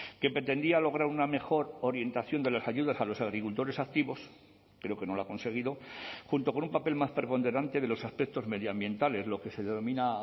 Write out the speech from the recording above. que pretendía lograr una mejor orientación de las ayudas a los agricultores activos creo que no lo ha conseguido junto con un papel más preponderante de los aspectos medioambientales lo que se denomina